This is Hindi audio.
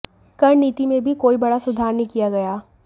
कर नीति में भी कोई बड़ा सुधार नहीं किया गया